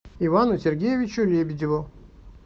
ивану сергеевичу лебедеву